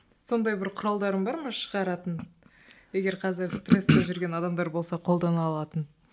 сондай бір құралдарың бар ма шығаратын егер қазір стресте жүрген адамдар болса қолдана алатын